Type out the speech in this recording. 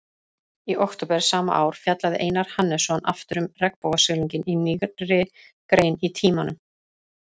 Í október sama ár fjallaði Einar Hannesson aftur um regnbogasilunginn í nýrri grein í Tímanum.